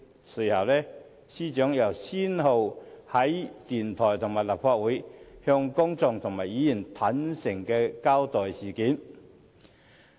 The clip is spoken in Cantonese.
隨後，司長亦先後到電台和立法會，向公眾和議員坦誠交代事件。